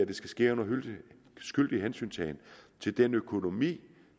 det skal ske under skyldig hensyntagen til den økonomi